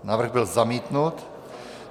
Návrh byl zamítnut.